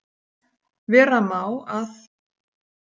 Vera má að